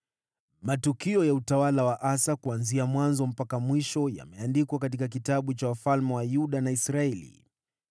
Matukio ya utawala wa Asa, kuanzia mwanzo mpaka mwisho, yameandikwa katika kitabu cha wafalme wa Yuda na Israeli.